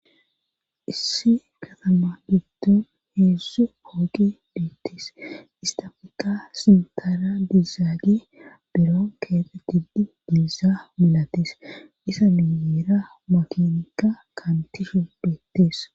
issi katama digdun heessu hoogi beettis istafika sintara dizaagi biron keete tiddi diizaa milatis isa miyeera makinika kantishe beettes